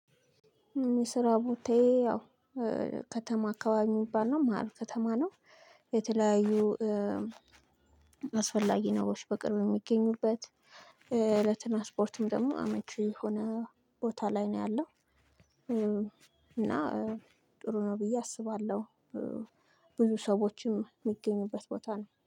የስራ ቦታየ ያው ከተማ አካባቢ የሚባል ነው ማህል ከተማ ነው። የተለያዩ አስፈላጊ ነገሮች በቅርብ የሚገኙበት እለትና ስፖርትም ደግሞ አመቺ የሆነ ቦታ ላይ ነው ያለው። እና ጥሩ ነው ብዬ አስባለሁ። ብዙ ሰዎችም የሚገኙበት ቦታ ነው